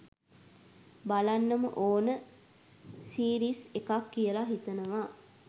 බලන්නම ඕන සීරිස් එකක් කියලා හිතනවා.